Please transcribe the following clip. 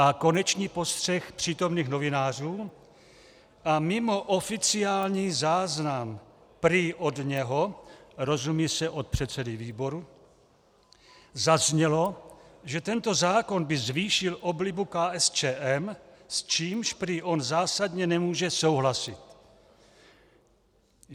A konečně postřeh přítomných novinářů - a mimo oficiální záznam prý od něho, rozumí se od předsedy výboru, zaznělo, že tento zákon by zvýšil oblibu KSČM, s čímž prý on zásadně nemůže souhlasit.